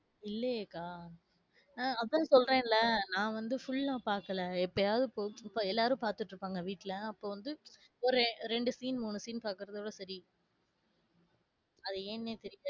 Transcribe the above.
இல்லையே அக்கா நான் ஆஹ் அதான் சொல்றேன்ல நான் வந்து full ஆ பாக்கல எப்பையாது பொழுது போகல, எல்லாரும் பாத்துட்டு இருப்பாங்க வீட்டுல அப்பவந்து ஒரு ரெண்டு scene, மூணு scene பாக்குறதோட சரி அது ஏன்னே தெரியாது